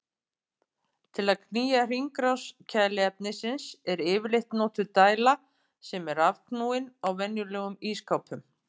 Til að knýja hringrás kæliefnisins er yfirleitt notuð dæla sem er rafknúin á venjulegum ísskápum.